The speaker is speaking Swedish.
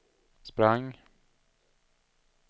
sprang